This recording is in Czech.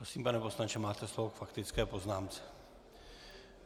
Prosím, pane poslanče, máte slovo k faktické poznámce.